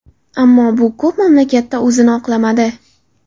Ammo bu ko‘p mamlakatda o‘zini oqlamadi.